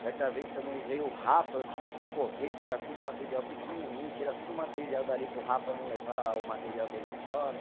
Certa vez também veio o rapa, eu tive que correr, tirar tudo o material pequenininho, tirar tudo o material dali para o rapa não levar o material dele embora.